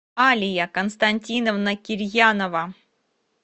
алия константиновна кирьянова